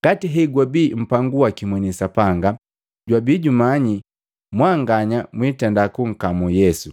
Ngati hegwabi mpangu waki mweni Sapanga, jwabi jumanyi mwanganya mwiitenda kunkamu Yesu,